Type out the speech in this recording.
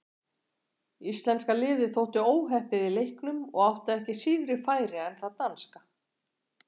Íslenska liðið þótti óheppið í leiknum og átti ekki síðri færi en það danska.